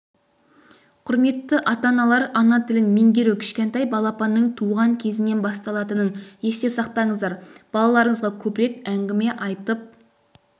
құрметті ата-аналар ана тілін меңгеру кішкентай балапанның туған кезінен басталатынын есте сақтаңыздар балаларыңызға көбірек әңгіме айтып